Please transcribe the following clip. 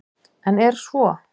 En er svo?